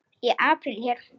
Í apríl er